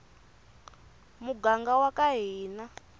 muganga waka hina